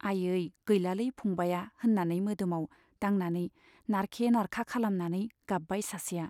आयै , गैलालै फंबाया, होन्नानै मोदोमाव दांनानै नारखे नारखा खालामनानै गाब्बाय सासेया।